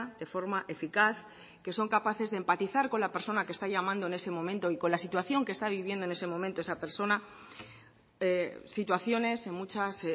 de forma eficaz que son capaces de empatizar con la persona que está llamando en ese momento y con la situación que está viviendo en ese momento esa persona situaciones en muchas